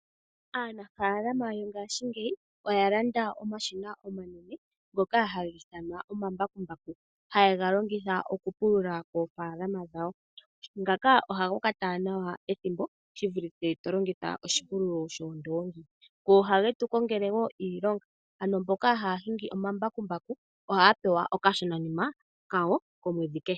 Aanafaalama yongaashingeyi oyalanda omashina omanene ngoka haga ithanwa omambakumbaku haye ga longitha okupulula koofaalama dhawo, ngaka ohaga kwata nawa ethimbo shivulithe to longitha oshipululo shoondoongi go ohage tu kongele woo iilonga, ano mboka haa longitha omambakumbaku ohaya pewa okashononima kawo omwedhi kehe.